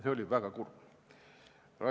Seda oli väga kurb kuulda.